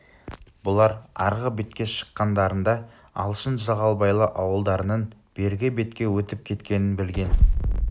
бұлар арғы бетке шыққандарында алшын жағалбайлы ауылдарының бергі бетке өтіп кеткенін білген